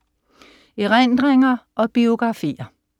Erindringer og biografier